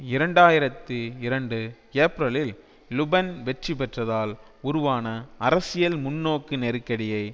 இரண்டு ஆயிரத்தி இரண்டுஏப்ரலில் லுபென் வெற்றி பெற்றதால் உருவான அரசியல் முன்னோக்கு நெருக்கடியை